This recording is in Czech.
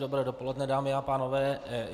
Dobré dopoledne, dámy a pánové.